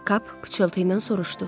Kap pıçıltıyla soruşdu.